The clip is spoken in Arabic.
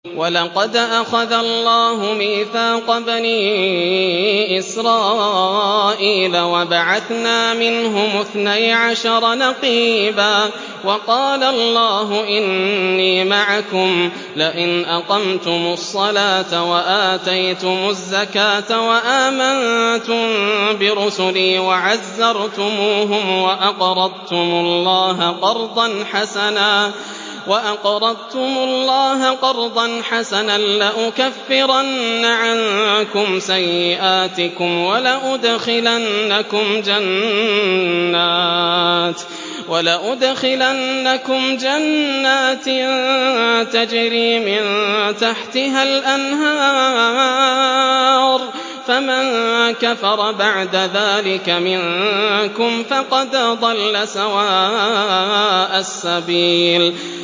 ۞ وَلَقَدْ أَخَذَ اللَّهُ مِيثَاقَ بَنِي إِسْرَائِيلَ وَبَعَثْنَا مِنْهُمُ اثْنَيْ عَشَرَ نَقِيبًا ۖ وَقَالَ اللَّهُ إِنِّي مَعَكُمْ ۖ لَئِنْ أَقَمْتُمُ الصَّلَاةَ وَآتَيْتُمُ الزَّكَاةَ وَآمَنتُم بِرُسُلِي وَعَزَّرْتُمُوهُمْ وَأَقْرَضْتُمُ اللَّهَ قَرْضًا حَسَنًا لَّأُكَفِّرَنَّ عَنكُمْ سَيِّئَاتِكُمْ وَلَأُدْخِلَنَّكُمْ جَنَّاتٍ تَجْرِي مِن تَحْتِهَا الْأَنْهَارُ ۚ فَمَن كَفَرَ بَعْدَ ذَٰلِكَ مِنكُمْ فَقَدْ ضَلَّ سَوَاءَ السَّبِيلِ